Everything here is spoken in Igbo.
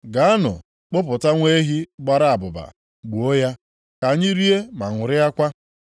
Gaanụ kpụpụta nwa ehi gbara abụba, gbuo ya, ka anyị rie ma ṅụrịakwa.